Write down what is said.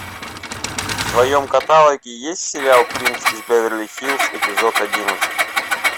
в твоем каталоге есть сериал принц из беверли хиллз эпизод одиннадцать